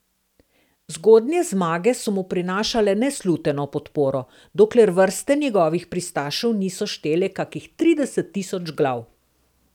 Zgodnje zmage so mu prinašale nesluteno podporo, dokler vrste njegovih pristašev niso štele kakih trideset tisoč glav.